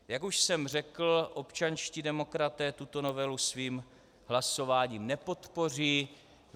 Jak už jsem řekl, občanští demokraté tuto novelu svým hlasováním nepodpoří.